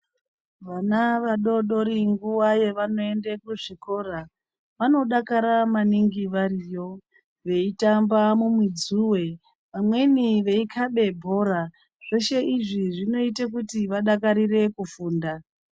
Vana vadodori nguva yavanoenda kuzvikora, vanodara maningi variyo ,veitamba mumidzuwe vamweni veikhabe bhora. Zveshe izvi zvinoite kuti vadakarire kufunda.